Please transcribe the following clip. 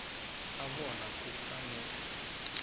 ebona kufanele ngayo